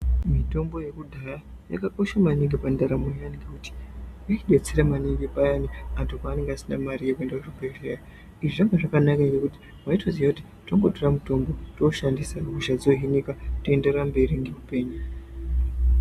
Mitombo yekudhaya yakakosha maningi pandaramo yedu ngekuti inodetsera maningi payano anthu paanenge asina Mari yekuenda kuzvibhedhlera izvi zvanga zvakanaka ngekuti waitoziya kuti kutongotora mitombo wotooshandisa kutoenderera mberi neupenyu.